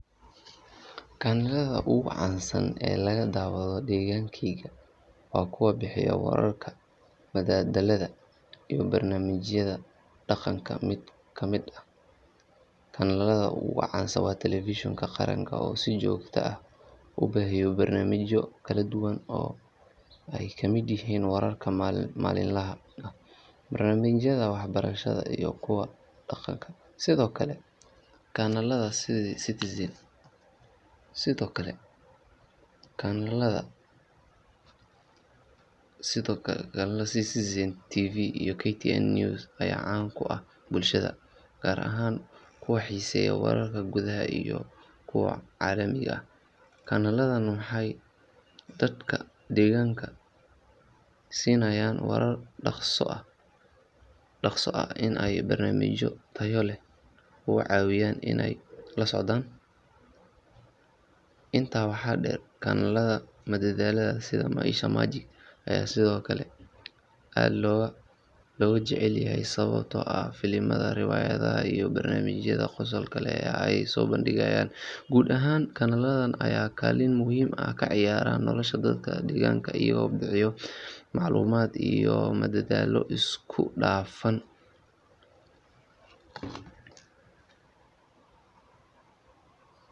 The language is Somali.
Kanaalada ugu caansan ee laga daawado degaankayga waa kuwa bixiya wararka, madadaalada, iyo barnaamijyada dhaqanka. Mid ka mid ah kanaalada ugu caansan waa Television-ka Qaranka oo si joogto ah u baahiya barnaamijyo kala duwan oo ay ka mid yihiin wararka maalinlaha ah, barnaamijyada waxbarashada, iyo kuwa dhaqanka. Sidoo kale, kanaalada sida Citizen TV iyo KTN News ayaa caan ku ah bulshada, gaar ahaan kuwa xiiseeya wararka gudaha iyo kuwa caalamiga ah. Kanaaladan waxay dadka degaanka siinayaan warar dhakhso ah iyo barnaamijyo tayo leh oo ka caawiya inay la socdaan dhacdooyinka dalka iyo adduunka. Intaa waxaa dheer, kanaalada madadaalada sida Maisha Magic ayaa sidoo kale aad looga jecel yahay sababtoo ah filimada, riwaayadaha, iyo barnaamijyada qosolka leh ee ay soo bandhigaan. Guud ahaan, kanaaladan ayaa kaalin muhiim ah ka ciyaara nolosha dadka degaanka iyagoo bixiya macluumaad iyo madadaalo isku dhafan.